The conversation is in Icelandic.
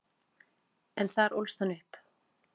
En þar ólst hann upp.